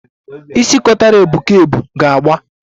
Isi kotara ebu ka ebu ga-agba